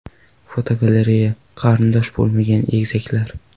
Fotogalereya: Qarindosh bo‘lmagan egizaklar.